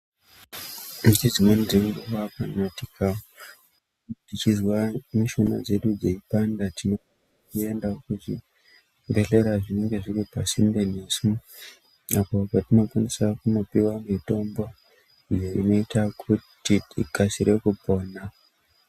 Nge dzimweni dze nguva kana tika chizwa mishuna dzedu dzeipanda tinoenda ku zvibhedhlera zvinenge zviri pasinde nesu apo patino kwanisa kuno piwa mitombo iyo inoita kuti tikasire kupona.